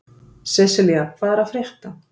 Seselía, hvað er að frétta?